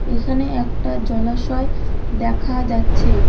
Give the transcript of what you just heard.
এখানে একটা জলাশয় দেখা যাচ্ছে।